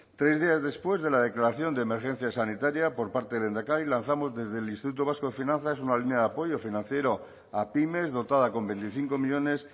tres días después de la declaración de emergencia sanitaria por parte del lehendakari lanzamos desde el instituto vasco de finanzas una línea de apoyo financiero a pymes dotada con veinticinco millónes